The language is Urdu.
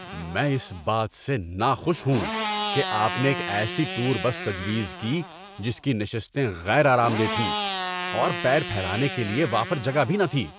میں اس بات سے ناخوش ہوں کہ آپ نے ایک ایسی ٹور بس تجویز کی جس کی نشستیں غیر آرام دہ تھیں اور پیر پھیلانے کے لیے وافر جگہ بھی نہ تھی۔